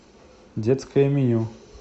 детское меню